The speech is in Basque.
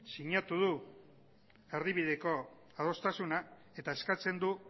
sinatu du erdibideko adostasuna eta eskatzen du